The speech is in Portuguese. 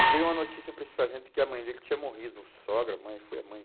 E veio uma notícia para esse sargento que a mãe dele tinha morrido, sogra, mãe, foi a mãe.